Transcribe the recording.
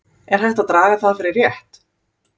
Er hægt að draga það fyrir rétt?